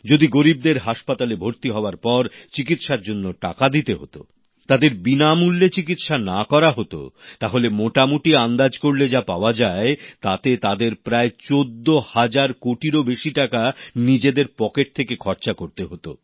যদি গরিবদের হাসপাতালে ভর্তি হওয়ার পর চিকিৎসার জন্য টাকা দিতে হত তাদের বিনামূল্যে চিকিৎসা না করা হতো তাহলে মোটামুটি আন্দাজ করলে যা পাওয়া যায় তাতে তাদের প্রায় প্রায় 14 হাজার কোটিরও বেশি টাকা নিজেদের পকেট থেকে খরচা করতে হতো